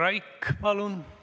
Hea eesistuja!